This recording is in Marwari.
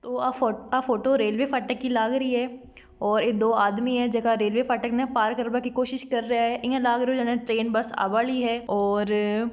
और व फोटो रेलवे फाटक की लागरी है और ये दो आदमी है का रेलवे फाटक का पार कर बा की कोशिस कर रहा है एया लाग रहो है की ट्रेन बस आबा रही है और --